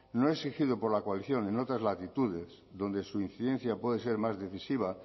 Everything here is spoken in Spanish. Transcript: no exigido por la coacción en otras latitudes donde su incidencia puede ser más decisiva